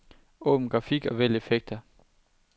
Åbn grafik og vælg effekter.